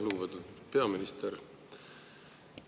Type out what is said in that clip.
Lugupeetud peaminister!